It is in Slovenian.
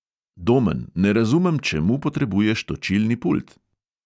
Domen, ne razumem, čemu potrebuješ točilni pult.